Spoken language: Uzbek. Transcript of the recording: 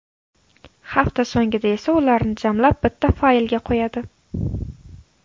Hafta so‘ngida esa ularni jamlab bitta faylga qo‘yadi.